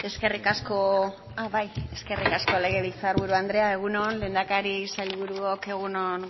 eskerrik asko bai eskerrik asko legebiltzarburu andrea egun on lehendakari sailburuok egun on